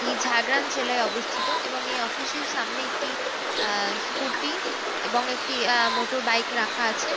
এই ঝাড়গ্রাম জেলায় অবস্থিত এবং এই অফিস -এর সামনে একটি অ্যা স্ক্যুটি এবং একটি অ্যা মোটর বইক রাখা আছে ।